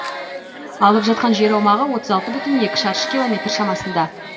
алып жатқан жер аумағы отыз алты бүтін оннан екі шаршы километр шамасында